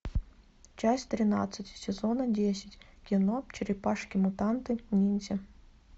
часть тринадцать сезона десять кино черепашки мутанты ниндзя